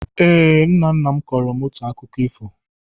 Ee, Nna nna m kọọrọ m otu akụkọ ifo